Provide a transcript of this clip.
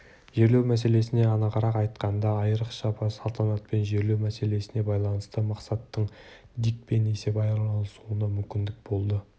жерлеу мәселесіне анығырақ айтқанда айырықша салтанатпен жерлеу мәселесіне байланысты мақсаттың дикпен есеп айырысуына мүмкіндік болды